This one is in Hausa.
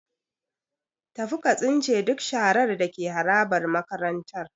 Tafi ka tsince duk sharar da ke harabar makarantar.